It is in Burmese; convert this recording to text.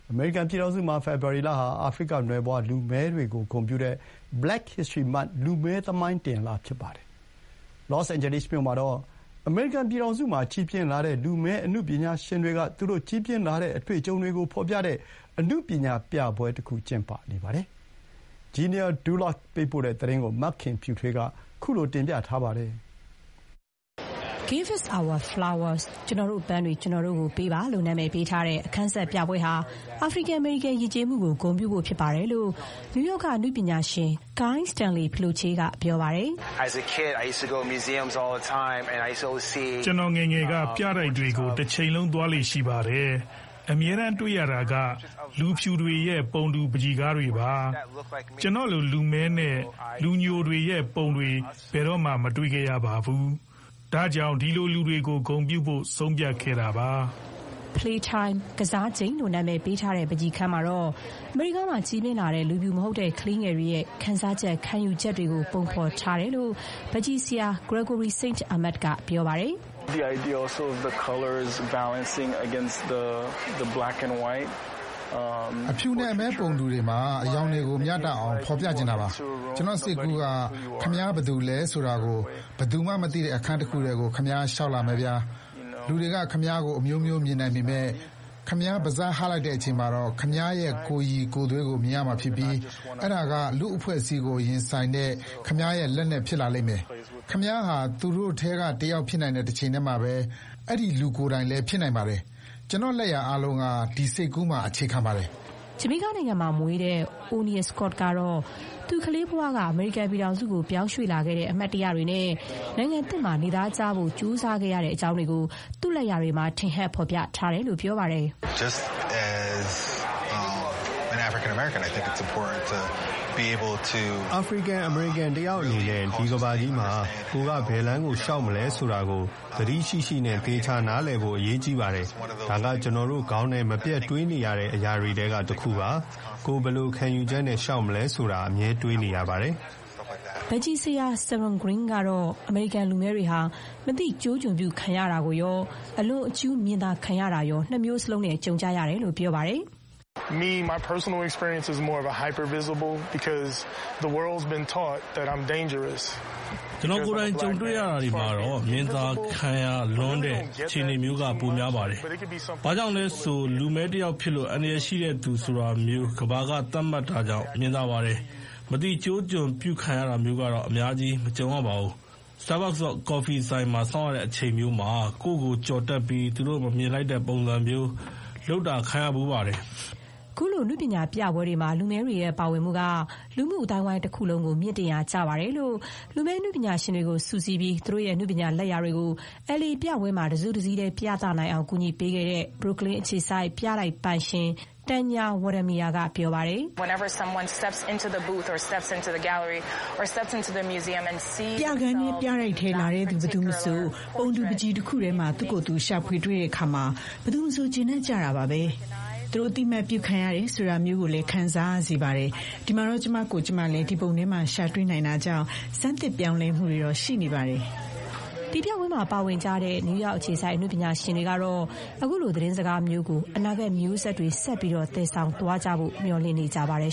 အမေရိကန်ပြည်ထောင်စုမှာ ဖေဖော်ဝါရီလဟာ အာဖရိကနွယ်ဖွား လူမည်းတွေကိုဂုဏ်ပြုတဲ့ Black History Month လူမည်းသမိုင်းတင်လ ဖြစ်ပါတယ်။ လော့စ်အိန်ဂျယ်လိစ်မြို့မှာတော့ အမေရိကန်ပြည်ထောင်စုမှာကြီးပြင်းလာတဲ့ လူမည်းအနုပညာရှင်တွေက သူတို့ကြီးပြင်းလာတဲ့အတွေ့အကြုံတွေကို ဖော်ပြတဲ့ အနုပညာပြပွဲတခု ကျင်းပနေပါတယ်။ Genia Dulot ပေးပို့တဲ့သတင်းကို မခင်ဖြူထွေးက တင်ပြထားပါတယ်။ “Give Us Our Flowers” ကျနော်တို့ ပန်းတွေ ကျနော်တို့ကို ပေးပါ − လို့ နာမည်ပေးထားတဲ့ အခန်းဆက် ပြပွဲဟာ အာဖရိကန်−အမေရိကန်ယဥ်ကျေးမှုကို ဂုဏ်ပြုဖို့ဖြစ်တယ်လို့ နယူးယောက်က အနုပညာရှင် Guy Stanley Philoche က ပြောပါတယ်။ “ကျနော် ငယ်ငယ်က ပြတိုက်တွေကို တချိန်လုံး သွားလေ့ရှိပါတယ်။ အမြဲတမ်းတွေ့ရတာက လူဖြူတွေရဲ့ ပုံတူပန်းချီကားတွေပါ။ ကျနော့်လိုလူမည်းနဲ့ လူညိုတွေရဲ့ပုံတွေ ဘယ်တော့မှမတွေ့ခဲ့ရဘူး။ ဒါကြောင့် ဒီလိုလူတွေကို ဂုဏ်ပြုဖို့ ဆုံးဖြတ်ခဲ့တာပါ။” Philoche ကတော့ LA အနုပညာပြပွဲမှာ ပါဝင်တဲ့ လူမည်းအနုပညာရှင်တွေထဲက တဦးပါ။ “Play Time” ကစားချိန် − လို့ နာမည်ပေးထားတဲ့ ပန်းချီခန်းမှာတော့ အမေရိကားမှာ ကြီးပြင်းလာတဲ့ လူဖြူမဟုတ်တဲ့ ကလေးငယ်တွေရဲ့ ခံစားချက်၊ ခံယူချက်တွေကို ပုံဖော်ထားတာလို့ ပန်းချီဆရာ Gregory Saint Amand က ပြောပါတယ်။ “အဖြူနဲ့အမည်းပုံတူတွေမှာ အရောင်တွေကို မျှတအောင်ဖော်ပြချင်တာပါ။ ကျနော့် စိတ်ကူးက − ခင်ဗျား ဘယ်သူလဲဆိုတာကို ဘယ်သူမှမသိတဲ့အခန်းတခုထဲကို ခင်ဗျား လျှောက်လာမယ်ဗျာ။ လူတွေက ခင်ဗျားကို အမျိုးမျိုးမြင်နိုင်ပေမဲ့ ခင်ဗျားပါးစပ်ဟလိုက်ချိန်မှာတော့ ခင်ဗျားရဲ့ကိုယ်ရည်ကိုယ်သွေးကို မြင်ရမှာဖြစ်ပြီး အဲ့ဒါက လူ့အဖွဲ့အစည်းကိုရင်ဆိုင်တဲ့ ခင်ဗျားရဲ့လက်နက် ဖြစ်လာလိမ့်မယ်။ ခင်ဗျားဟာ သူတို့ထဲကတယောက်ဖြစ်တဲ့တချိန်တည်းမှာ အဲ့ဒီလူလည်း ဖြစ်တယ်။ ကျနော့်လက်ရာအားလုံးက ဒီစိတ်ကူးမှာ အခြေခံပါတယ်။” ဂျမေကာနိုင်ငံမှာ မွေးတဲ့ O’Neil Scott ကတော့ သူ ကလေးဘဝက အမေရိကန်ပြည်ထောင်စုကို ရွှေ့ပြောင်းလာခဲ့တဲ့အမှတ်တရတွေနဲ့ နိုင်ငံသစ်မှာ နေသားကျဖို့ ကြိုးစားခဲ့ရတဲ့အကြောင်းတွေကို သူ့လက်ရာတွေမှာ ထင်ဟပ်ဖန်တီး ထားပါတယ်။ “အာဖရိကန်−အမေရိကန်တယောက်အနေနဲ့က ဒီကမ္ဘာကြီးမှာ ကိုယ်က ဘယ်လမ်းကိုလျှောက်မလဲဆိုတာကို သတိရှိရှိနဲ့ သေချာနားလည်ဖို့ အရေးကြီးပါတယ်။ ဒါက ကျနော်တို့ခေါင်းထဲ မပြတ်တွေးနေရတဲ့ အရာတွေထဲကတခုပါ။ ကိုယ် ဘယ်လိုခံယူချက်နဲ့လျှောက်မလဲဆိုတာ အမြဲတွေးနေရပါတယ်။” ပန်းချီဆရာ Serron Green ကတော့ အမေရိကန် လူမည်းတွေဟာ အသိကျိုးကျွန်ပြု ခံရတာကိုရော၊ အလွန်အကျူး မြင်သာ ခံရတာရော နှစ်မျိုးလုံးနဲ့ ကြုံတွေ့ကြရတယ်လို့ ပြောပါတယ်။ “ကျနော် ကိုယ်တိုင် ကြုံတွေ့ရတာတွေမှာတော့ − မြင်သာခံရလွန်းတဲ့ အခြေအနေမျိုးက ပိုများပါတယ်။ ဘာကြောင့်လဲဆို လူမည်းတယောက်ဖြစ်လို့ အန္တရာယ်ရှိတဲ့သူဆိုတာမျိုး ကမ္ဘာက သတ်မှတ်တာကြောင့် မြင်သာပါတယ်။ မသိကျိုးကျွံပြုခံရတာမျိုးကတော့ အများကြီး မကြုံရပါဘူး။ Starbucks ကော်ဖီဆိုင်မှာ စောင့်ရတဲ့အချိန်မျိုးမှာ ကိုယ့်ကိုကျော်တက်ပြီး သူတို့ မမြင်လိုက်တဲ့ပုံစံမျိုး လုပ်တာခံရဖူးပါတယ်။” ခုလို အနုပညာပြပွဲတွေမှာ လူမည်းတွေပါဝင်တာက လူမှုအသိုင်းအဝိုင်းတခုလုံးကို မြှင့်တင်ရာကျပါတယ်လို့ လူမည်းအနုပညာရှင်တွေကိုစုစည်းပြီး သူတို့ရဲ့ အနုပညာလက်ရာတွေကို LA ပြပွဲမှာ တစုတစည်းတည်းပြသနိုင်အောင် ကူညီပေးခဲ့တဲ့ Brooklyn အခြေစိုက် ပြတိုက်ပိုင်ရှင် Tanya Weddemire က ပြောပါတယ်။ “ပြခန်းထဲ၊ ပြတိုက်ထဲလာကြတဲ့ဘယ်သူမဆို ပုံတူပန်းချီတခုထဲမှာ သူ့ကိုယ်သူ ရှာဖွေတွေ့တဲ့အခါ ဘယ်သူမဆို ကျေနပ်ကြတာပါပဲ။ သူတို့ အသိအမှတ်ပြု ခံရတယ်ဆိုတာမျိုး ခံစားရစေပါတယ်။ ဒီမှာတော့ ကျမကိုယ်ကျမလည်း ဒီပုံထဲမှာ ရှာတွေ့နိုင်တာကြောင့် ဆန်းသစ် ပြောင်းလဲမှု ရှိနေပါတယ်။” ဒီပြပွဲမှာ ပါဝင်ကြတဲ့ နယူးယောက်အခြေစိုက် အနုပညာရှင်တွေကတော့ ခုလို သတင်းစကားမျိုးကို အနာဂတ် မျိုးဆက်တွေ ဆက်ပြီး သယ်ဆောင်သွားနိုင်ဖို့ မျှော်လင့်နေကြပါတယ်